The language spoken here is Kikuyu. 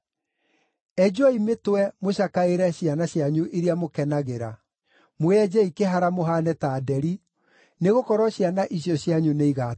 Enjwoi mĩtwe mũcakaĩre ciana cianyu iria mũkenagĩra; mwĩenjei kĩhara mũhaane ta nderi, nĩgũkorwo ciana icio cianyu nĩigatahwo.